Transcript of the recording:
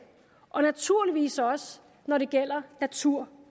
og naturligvis også når det gælder natur